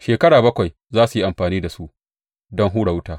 Shekara bakwai za su yi amfani da su don hura wuta.